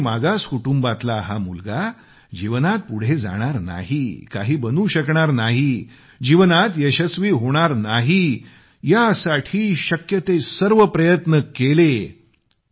गरीब आणि मागास कुटुंबातला हा मुलगा जीवनात पुढे जाणार नाही काही बनू शकणार नाही जीवनात यशस्वी होणार नाही यासाठी शक्य ते सर्व प्रयत्न केले